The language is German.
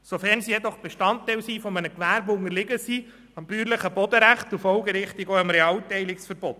Wenn sie aber Bestandteil eines Gewerbes sind, unterliegen sie dem bäuerlichen Bodenrecht und folgerichtig auch dem Realteilungsverbot.